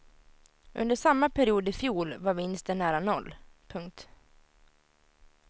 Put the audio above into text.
Under samma period i fjol var vinsten nära noll. punkt